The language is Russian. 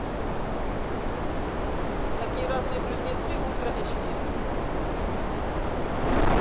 такие разные близнецы ультра эйч ди